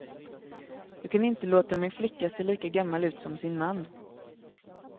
Jag kan inte låta min flicka se lika gammal ut som sin man.